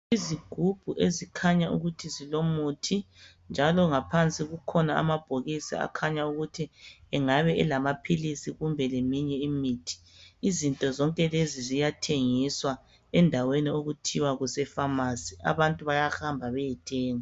Izigubhu ezikhanya ukuthi zilomuthi njalo ngaphansi kukhona amabhokisi akhanya ukuthi engabe elamaphilisi kumbe leyinye imithi. Izinto zonke lezi ziyathengiswa endaweni okuthiwa kuseFamasi. Abantu bayahamba bayethenga.